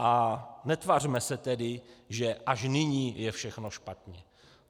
A netvařme se tedy, že až nyní je všechno špatně.